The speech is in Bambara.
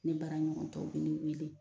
Ne bara ɲɔgɔntɔw be ne weele